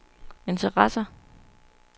interesserer